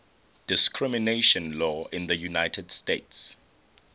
discrimination law in the united states